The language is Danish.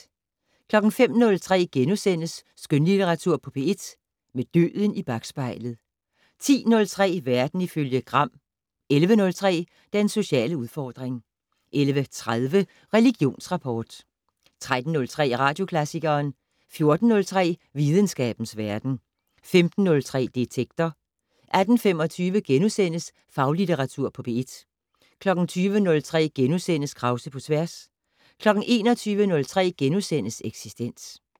05:03: Skønlitteratur på P1 - Med døden i bakspejlet * 10:03: Verden ifølge Gram 11:03: Den sociale udfordring 11:30: Religionsrapport 13:03: Radioklassikeren 14:03: Videnskabens Verden 15:03: Detektor 18:25: Faglitteratur på P1 * 20:03: Krause på tværs * 21:03: Eksistens *